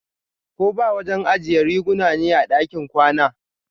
koba wajen ajiya riguna ne a ɗakin kwana.